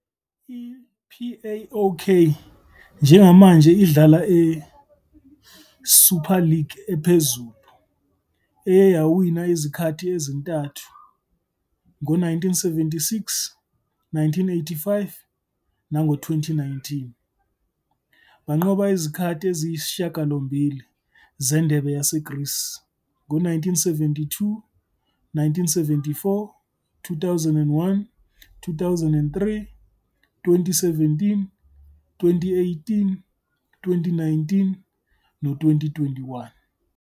I-PAOK njengamanje idlala e-Super League ephezulu, eye yawina izikhathi ezintathu, ngo-1976, 1985 nango-2019. Banqobe izikhathi eziyisishiyagalombili zeNdebe yaseGreece, ngo-1972, 1974, 2001, 2003, 2017, 2018, 2019 no-2021.